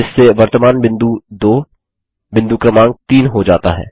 जिससे वर्तमान बिंदु 2 बिंदु क्रमांक 3 हो जाता है